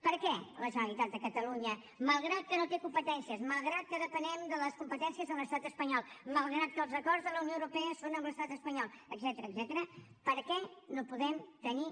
per què la generalitat de catalunya malgrat que no té competències malgrat que depenem de les competències de l’estat espanyol malgrat que els acords de la unió europea són amb l’estat espanyol etcètera per què no podem tenir